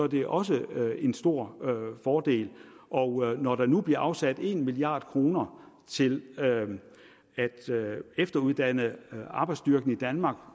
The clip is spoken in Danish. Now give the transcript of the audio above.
det også er en stor fordel og når der nu bliver afsat en milliard kroner til at efteruddanne arbejdsstyrken i danmark